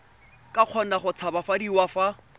ka kgona go tshabafadiwa fa